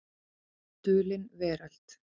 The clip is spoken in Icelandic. Dulin Veröld.